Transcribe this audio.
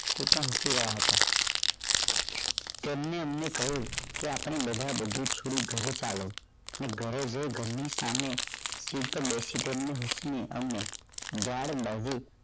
તે પણ જોઈ રહ્યા હતા તેમણે મને કહ્યું કે આપણે બધા બધુ છોડી ઘરે ચાલો ને ઘરે જઈ ઘર ની સામે સિકદર્શકન ની નીચલી અને ઝાડ